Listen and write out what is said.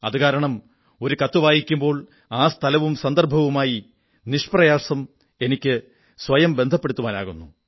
അതു കാരണം ഒരു കത്തു വായിക്കുമ്പോൾ ആ സ്ഥലവും സന്ദർഭവുമായി നിഷ്പ്രയാസം എനിക്ക് സ്വയം ബന്ധപ്പെടുത്തുവാനാകുന്നു